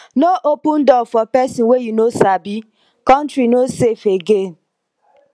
no open door for pesin wey you no sabi country no safe again